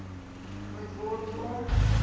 moet word om